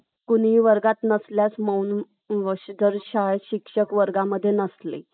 कुणीही वर्गात नसल्यास , मौन व्रत शाळेत शिक्षक वर्गामध्ये नसले